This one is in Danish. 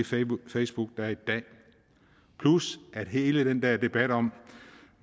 facebook der er i dag plus at er hele den der debat om